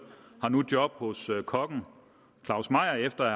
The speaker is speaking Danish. nu job hos kokken claus meyer efter at